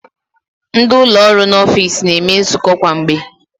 Ndị ụlọ ọrụ n'ọfiks na-eme nzukọ kwa mgbe.